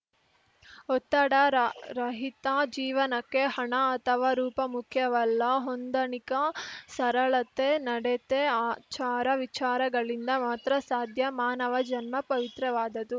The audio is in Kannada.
ಒತ್ತಡ ರಹಿತ ಜೀವನಕ್ಕೆ ಹಣ ಅಥವಾ ರೂಪ ಮುಖ್ಯವಲ್ಲ ಹೊಂದಾಣಿಕ ಸರಳತೆ ನಡತೆ ಆಚಾರವಿಚಾರಗಳಿಂದ ಮಾತ್ರ ಸಾಧ್ಯ ಮಾನವ ಜನ್ಮ ಪವಿತ್ರವಾದುದು